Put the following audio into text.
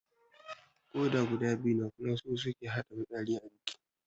Koda guda biyu ne kuma su suke haɗa fitsari a jiki